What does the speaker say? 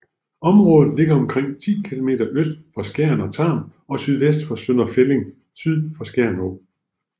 Området ligger omkring 10 km øst for Skjern og Tarm og sydvest for Sønder Felding syd for Skjern Å